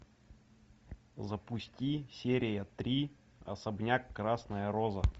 запусти серия три особняк красная роза